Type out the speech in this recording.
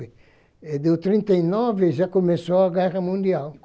E do trinta e nove já começou a Guerra Mundial.